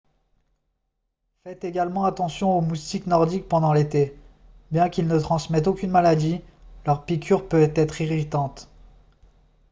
faites également attention aux moustiques nordiques pendant l'été bien qu'ils ne transmettent aucune maladie leur piqûre peut être irritante